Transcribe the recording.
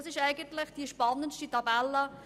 Das ist eine sehr spannende Tabelle.